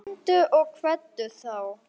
Komdu og kveddu þá.